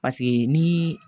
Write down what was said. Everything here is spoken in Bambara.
Paseke ni